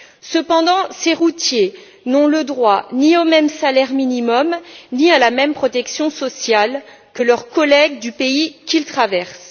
Cependant, ces routiers n'ont le droit ni au même salaire minimum, ni à la même protection sociale que leurs collègues du pays qu'ils traversent.